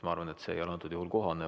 Ma arvan, et see ei ole antud juhul kohane.